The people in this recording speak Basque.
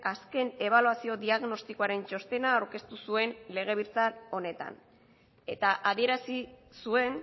azken ebaluazio diagnostikoaren txostena aurkeztu zuen legebiltzar honetan eta adierazi zuen